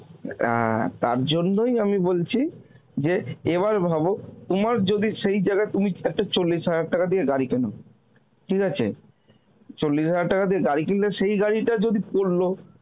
অ্যাঁ তার জন্যই আমি বলছি যে এবার ভাব তোমার যদি সেই জায়গায় তুমি একটা চল্লিশ হাজার টাকা দিয়ে গাড়ি কেনো, ঠিক আছে? চল্লিশ হাজার টাকা দিয়ে গাড়ি কিনলে সেই গাড়িটা যদি পরল